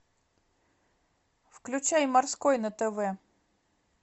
включай морской на тв